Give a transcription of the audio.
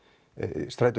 strætó